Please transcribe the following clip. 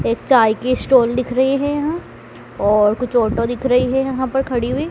एक चाय की स्टाल दिख रहे हैं यहां और कुछ ऑटो दिख रही है यहां पर खड़ी हुई।